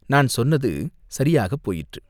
நான் சொன்னது சரியாகப் போயிற்று.